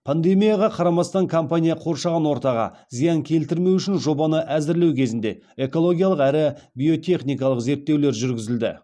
пандемияға қарамастан компания қоршаған ортаға зиян келтірмеу үшін жобаны әзірлеу кезінде экологиялық әрі биотехникалық зерттеулер жүргізілді